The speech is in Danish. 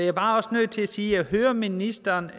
er bare nødt til at sige at jeg hører ministeren